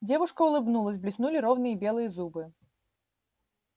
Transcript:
девушка улыбнулась блеснули ровные белые зубы